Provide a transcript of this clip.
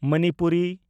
Manipuri